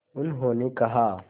उन्होंने कहा